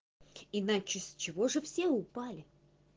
иначе с чего же все упали